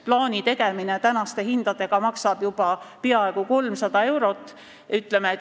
Plaani tegemine tänaste hindadega maksab juba peaaegu 300 eurot.